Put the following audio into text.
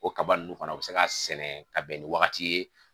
O kaba ninnu fana u bɛ se k'a sɛnɛ ka bɛn ni wagati ye